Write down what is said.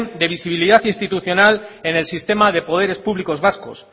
de visibilidad institucional en el sistema de poderes públicos vascos